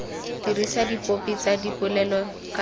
dirisa dipopi tsa dipolelo ka